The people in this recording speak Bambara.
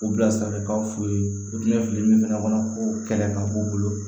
O bilasiralikanw f'u ye u tun bɛ fili min fana kɔnɔ ko kɛlɛ kan u bolo